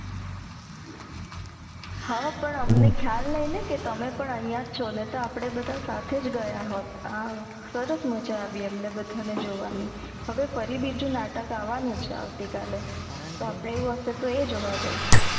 હ પણ અમને ખ્યાલ નઈ ને કે તમે પણ અહિયાંજ છો નઈ તો અપડે બધા સાથેજ ગયા હોત આહ સરસ મજા આવી અમને બધા ને જોવાની હવે ફરી બીજું નાટક અવનું છે આવતીકાલે આવું હસે તો આ જોવા જઇસુ